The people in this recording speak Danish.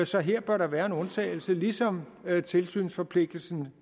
så her bør der være en undtagelse ligesom tilsynsforpligtelsen